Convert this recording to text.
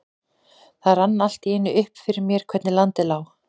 Það rann allt í einu upp fyrir mér hvernig landið lá.